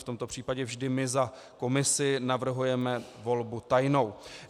V tomto případě vždy my za komisi navrhujeme volbu tajnou.